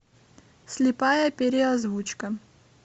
слепая переозвучка